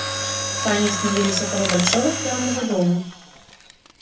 сани остановились около большого странного дома